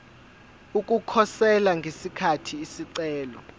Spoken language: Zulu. ukukhosela ngesikhathi isicelo